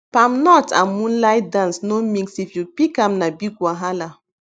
palm nut and moonlight dance no mixif you pick am na big wahala